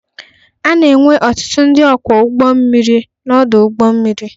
A na-enwe ọtụtụ ndị ọkwọ ụgbọ mmiri n'ọdụ ụgbọ mmiri.